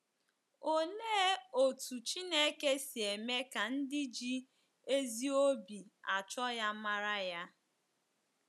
Olee otú Chineke si eme ka ndị ji ezi obi achọ ya mara ya?